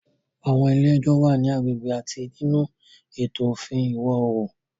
Àwọn ilé ẹjọ́ wà ní agbègbè àti nínú ètò òfin Ìwọ̀ Oòrùn.